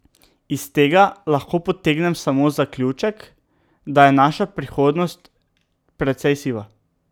Iz tega lahko potegnem samo zaključek, da je naša prihodnost precej siva.